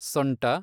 ಸೊಂಟ